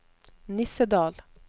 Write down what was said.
Nissedal